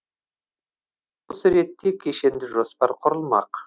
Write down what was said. осы ретте кешенді жоспар құрылмақ